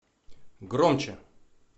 громче